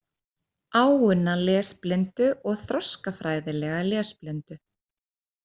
Áunna lesblindu og þroskafræðilega lesblindu.